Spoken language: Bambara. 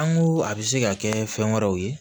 An ko a bɛ se ka kɛ fɛn wɛrɛw ye